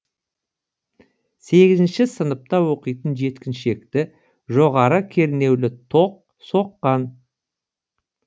сегізінші сыныпта оқитын жеткіншекті жоғары кернеулі тоқ соққан